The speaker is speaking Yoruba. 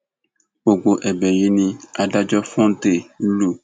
gbogbo ẹbẹ yìí ni adájọ fòńté lù